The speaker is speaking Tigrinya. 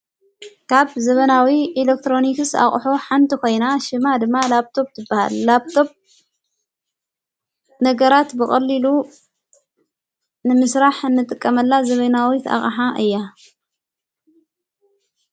ካብ ዘበናዊ ኤሌክትሮኒክስ ኣቕሖ ሓንቲ ኾይና ሽማ ድማ ላጵቶብ ትበሃል ላጵቶብ ነገራት ብቕሊሉ ንምሥራሕ እንጥቀመላ ዘበናዊ ኣቕሓ እያ፡፡